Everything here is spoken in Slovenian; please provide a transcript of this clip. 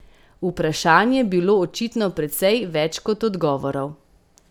Vprašanj je bilo očitno precej več kot odgovorov.